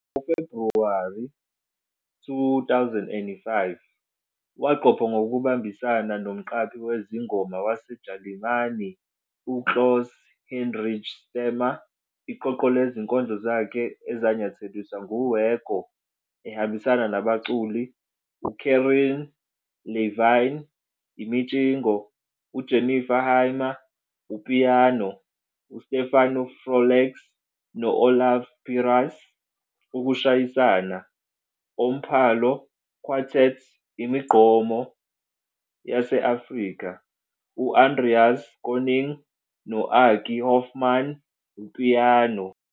Ngo-10 Febhuwari 2005, waqopha ngokubambisana nomqambi wezingoma waseJalimane uKlaus Hinrich Stahmer iqoqo lezinkondlo zakhe ezanyatheliswa nguWergo, ehambisana nabaculi uCarin Levine, imitshingo, UJennifer Hymer, upiyano, UStephan Froleyks no-Olaf Pyras, ukushayisana, Omphalo- Quartett, imigqomo yase-Afrika, U-Andreas König no-Aki Hoffmann, upiyano.